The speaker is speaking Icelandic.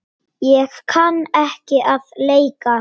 Ég kann ekki að leika.